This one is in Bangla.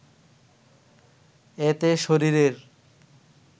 এতে শরীরের